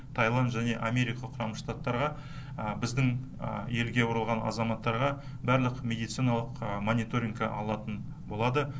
тайланд және америка құрама штаттарға біздің елге оралған азаматтарға барлық медициналық мониторингке алатын болады